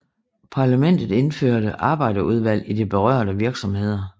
Parlamentet indførte arbejderudvalg i de berørte virksomheder